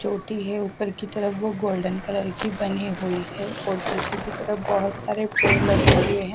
चोटी है ऊपर की तरफ वो गोल्डन कलर की बनी हुई है और पीछे की तरफ बहुत सारे पेड़ लगे हुए हैं।